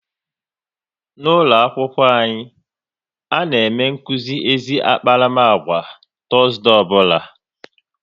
N'ụlọakwụkwọ anyị, a na-eme nkuzi ezi akparamagwa kwa Tọọzde ọbụla